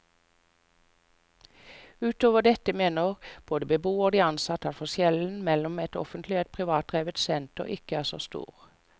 Utover dette mener både beboerne og de ansatte at forskjellen mellom et offentlig og et privatdrevet senter ikke er så stor.